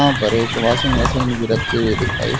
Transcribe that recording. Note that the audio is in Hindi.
यहां पर एक वॉशिंग मशीन भी रखी हुई दिखाई--